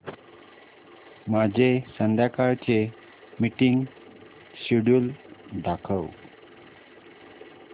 माझे संध्याकाळ चे मीटिंग श्येड्यूल दाखव